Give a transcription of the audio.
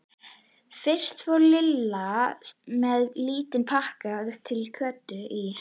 Fyrst fór Lilla með lítinn pakka til Kötu í